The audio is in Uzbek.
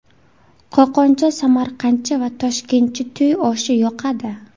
Qo‘qoncha, samarqandcha va toshkentcha to‘y oshi yoqadi.